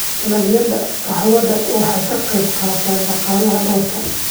Dalagyada qaxwada waxay ka qaybqaataan dhaqaalaha dalka.